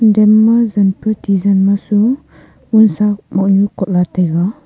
denma jenpe tijen ma so onsa mohnu kohla taiga